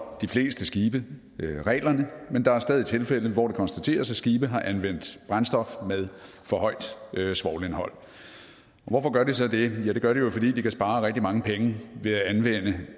de fleste skibe reglerne men der er stadig tilfælde hvor det kan konstateres at skibe har anvendt brændstof med for højt svovlindhold og hvorfor gør de så det det gør de jo fordi de kan spare rigtig mange penge